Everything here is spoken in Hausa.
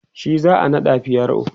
shi za'a naɗa pro